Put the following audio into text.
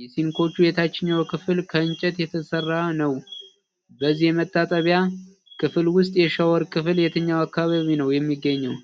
የሲንኮቹ የታችኛው ክፍል ከእንጨት የተሰራ ነው። በዚህ የመታጠቢያ ክፍል ውስጥ የሻወር ክፍል የትኛው አካባቢ ነው የሚገኘው?